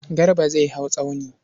Garba zai hau tsauni.